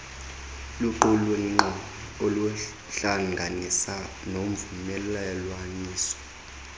luqulunkqo uhlanganiso novumelelwaniso